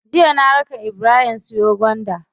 Jiya na raka ibrahim siyo gwanda.